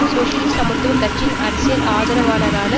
சோசியலிச சமத்துவ கட்சியின் அரசியல் ஆதரவாளரான